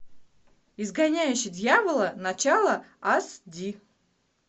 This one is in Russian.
изгоняющий дьявола начало аш ди